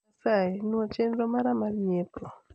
asayi nuo chenro mara mar nyiepo